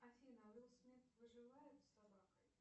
афина уилл смит выживает с собакой